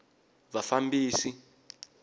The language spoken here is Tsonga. vafambisi